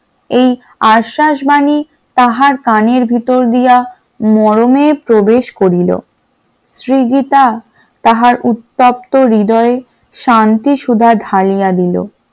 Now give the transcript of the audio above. এই আশ্বাস বাণী তাহার কানের ভেতর দিয়া মরণের প্রবেশ করিল । সৃগীতা তাহার উত্তপ্ত হৃদয় শান্তি সুধা ঢালিয়া দিল ।